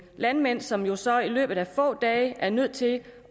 landmænd som jo så i løbet af få dage er nødt til